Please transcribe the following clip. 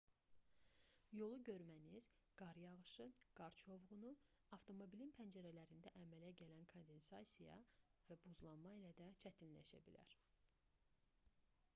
yolu görməniz qar yağışı qar çovğunu avtomobilin pəncərələrində əmələ gələn kondensasiya və buzlanma ilə də çətinləşə bilər